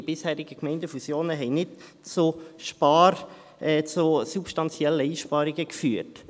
Die bisherigen Gemeindefusionen haben nicht zu substanziellen Einsparungen geführt.